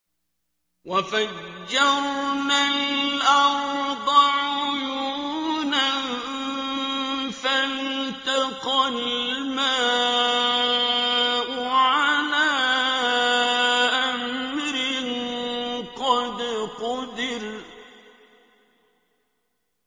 وَفَجَّرْنَا الْأَرْضَ عُيُونًا فَالْتَقَى الْمَاءُ عَلَىٰ أَمْرٍ قَدْ قُدِرَ